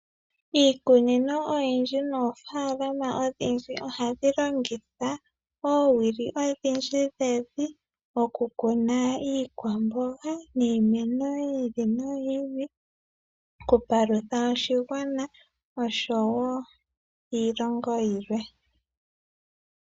Iikunino oyindji noofalama odhindji ohadhi longitha oowili odhindji dhevi okukuna iikwamboga niimeno yi ili noyi ili ,okupalutha oshigwana oshowo iilongo oyindji yilwe.